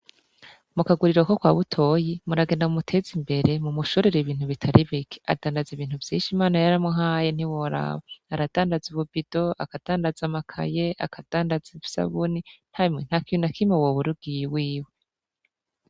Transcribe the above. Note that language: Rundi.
Mu kaguriro ko kwa butoyi, muragenda mumu tezimbere mumushorere ibintu bitari bike, adandaza ibintu vyinshi Imana yaramuhaye ntiworaba. Aradandaza ubu bido, akadandaza amakaye, akadandaza isabuni, emwe ntakintu nakimwe wobura ugiye iwiwe.